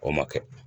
O ma kɛ